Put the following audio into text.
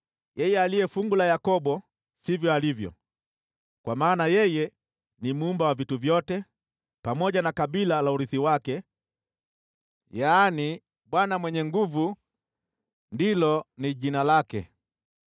Yeye Aliye Fungu la Yakobo sivyo alivyo, kwani ndiye Muumba wa vitu vyote, pamoja na kabila la urithi wake: Bwana Mwenye Nguvu Zote ndilo jina lake.